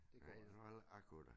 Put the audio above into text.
Nej jeg ved heller ikke om jeg kunne det